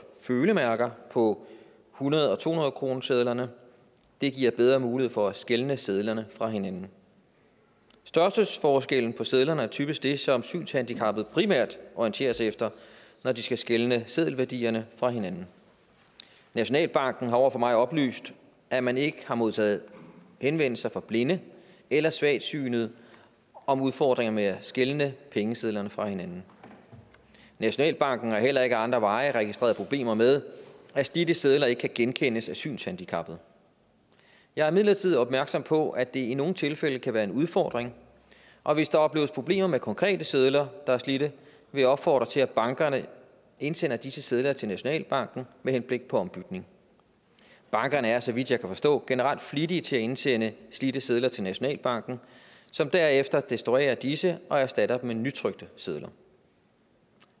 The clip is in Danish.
følemærker på hundrede og to hundrede kronesedlerne det giver bedre mulighed for at skelne sedlerne fra hinanden størrelsesforskellen på sedlerne er typisk det som synshandicappede primært orienterer sig efter når de skal skelne seddelværdierne fra hinanden nationalbanken har over for mig oplyst at man ikke har modtaget henvendelser fra blinde eller svagsynede om udfordringer med at skelne pengesedlerne fra hinanden nationalbanken har heller ikke ad andre veje registreret problemer med at slidte sedler ikke kan genkendes af synshandicappede jeg er imidlertid opmærksom på at det i nogle tilfælde kan være en udfordring og hvis der opleves problemer med konkrete sedler der er slidte vil jeg opfordre til at bankerne indsender disse sedler til nationalbanken med henblik på ombytning bankerne er så vidt jeg kan forstå generelt flittige til at indsende slidte sedler til nationalbanken som derefter destruerer disse og erstatter dem med nytrykte sedler